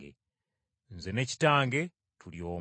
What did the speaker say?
Nze ne Kitange tuli omu.”